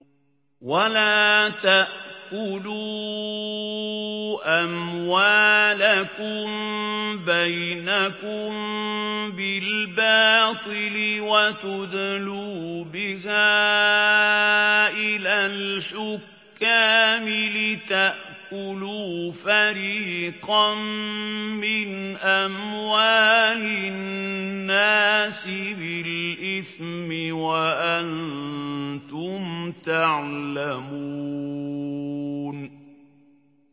وَلَا تَأْكُلُوا أَمْوَالَكُم بَيْنَكُم بِالْبَاطِلِ وَتُدْلُوا بِهَا إِلَى الْحُكَّامِ لِتَأْكُلُوا فَرِيقًا مِّنْ أَمْوَالِ النَّاسِ بِالْإِثْمِ وَأَنتُمْ تَعْلَمُونَ